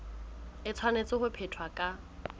e tshwanetse ho phethwa ka